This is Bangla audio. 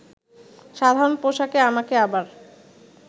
সাধারণ পোশাকে আমাকে আবার